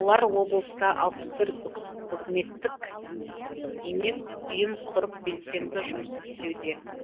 олар облыста алпыс төрт үкіметтік емес ұйым құрып белсенді жұмыс істеуде